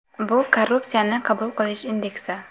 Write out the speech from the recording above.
Bu korrupsiyani qabul qilish indeksi.